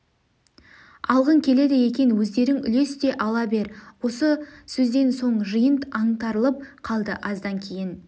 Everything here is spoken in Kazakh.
алғың келеді екен өздерің үлес те ала бер осы сөзден соң жиын аңтарылып калды аздан кейін